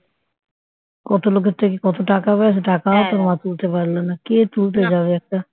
কত লোকের থেকে কত টাকা পায় সে টাকাও তোর মা তুলতে পারল না কে তুলতে যাবে একটা